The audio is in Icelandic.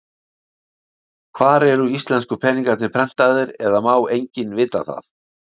Hvar eru íslensku peningarnir prentaðir, eða má enginn vita það?